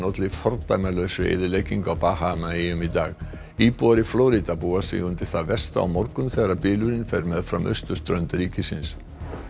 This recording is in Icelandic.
olli fordæmalausri eyðileggingu á Bahamaeyjum í dag íbúar í Flórída búa sig undir það versta á morgun þegar fer meðfram austurströnd ríkisins